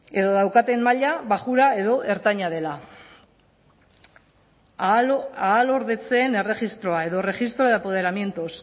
edo daukaten maila baxua edo ertaina dela ahalordetzeen erregistroa edo registro de empoderamientos